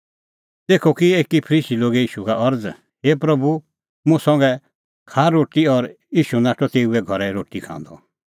तेखअ की एकी फरीसी लोगे ईशू का अरज़ हे प्रभू मुंह संघै खाआ रोटी और ईशू नाठअ तेऊए घरै रोटी खांदअ